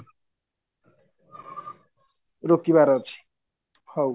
ରୋକିବାର ଅଛି ହଉ